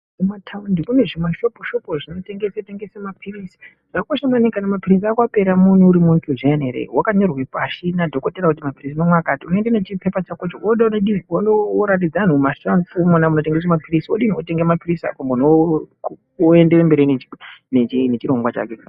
Kumataundi kune zvima shopu shopu zvimotengesa mapilizi. Zvakakosha maningi kana mapilizi ako apera uri muntu zviyani wakanyorerwa pashi nadhokodheya kuti mapilizi unomwa alati unoenda wonoratidza anhu mumashopu umona munotengeswe mapilizi wopuwa mapilizi ako woendera mberi nechirongwa chake.